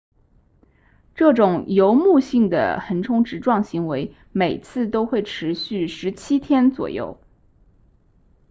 这种游牧性的横冲直撞行为每次都会持续17天左右